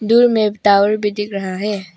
दूर में एक टावर भी दिख रहा है।